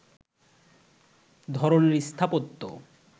ধরনের স্থাপত্য